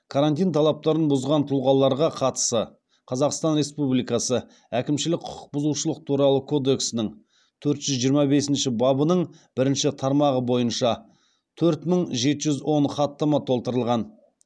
карантин талаптарын бұзған тұлғаларға қатысы қазақстан республикасы әкімшілік құқық бұзушылық туралы кодексінің төрт жүз жиырма бесінші бабының бірінші тармағы бойынша төрт мың жеті жүз он хаттама толтырылған